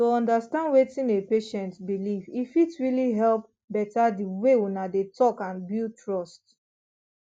to understand wetin a patient believe e fit really help better the way una dey talk and build trust